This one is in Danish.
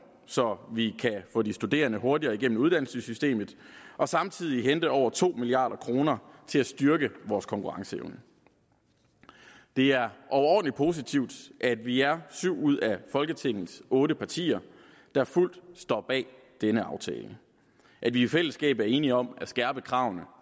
så vi kan få de studerende hurtigere gennem uddannelsessystemet og samtidig hente over to milliard kroner til at styrke vores konkurrenceevne det er overordentlig positivt at vi er syv ud af folketingets otte partier der fuldt ud står bag denne aftale at vi i fællesskab er enige om at skærpe kravene